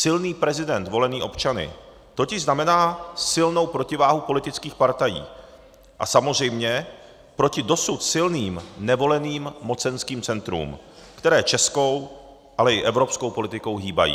Silný prezident volený občany totiž znamená silnou protiváhu politických partají a samozřejmě proti dosud silným nevoleným mocenským centrům, která českou, ale i evropskou politikou hýbou.